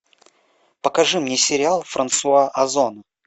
покажи мне сериал франсуа озон